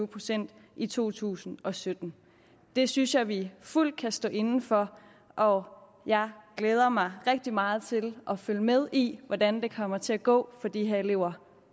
procent i to tusind og sytten det synes jeg vi fuldt kan stå inde for og jeg glæder mig rigtig meget til at følge med i hvordan det kommer til at gå for de her elever